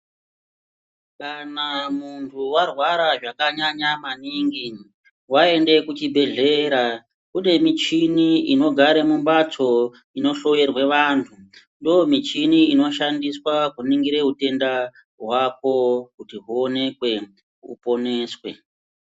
Kana muntu warwara zvakanyanya maningi, waende kuchibhedhlera, kune michini inogare mumphatso inohloyerwe vantu, ndomichini inoshandiswa kuningire utenda hwako, kuti huonekwe, uponeswe.